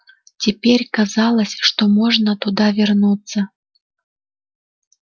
теперь казалось что можно туда вернуться